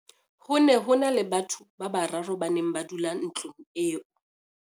ho ne ho na le batho ba bararo ba neng ba dula ntlong eo